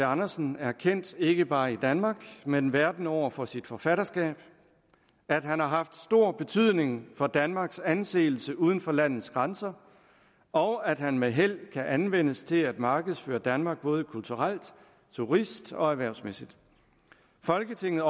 andersen er kendt ikke bare i danmark men verden over for sit forfatterskab at han har haft stor betydning for danmarks anseelse uden for landets grænser og at han med held kan anvendes til at markedsføre damark både kulturelt turist og erhvervsmæssigt folketinget